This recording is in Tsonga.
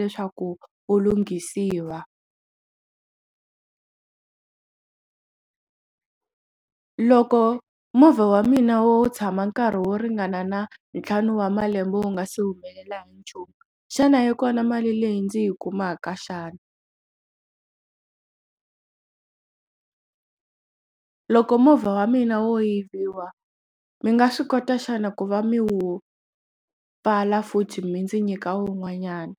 leswaku ku lunghisiwa loko movha wa mina wo tshama nkarhi wo ringana na ntlhanu wa malembe wu nga si humelela hi nchumu xana yi kona mali leyi ndzi yi kumaka xana loko movha wa mina wo yiviwa mi nga swi kota xana ku va mi wu pfala futhi mi ndzi nyika wun'wanyana.